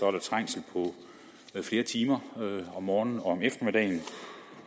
er trængsel i flere timer om morgenen og om eftermiddagen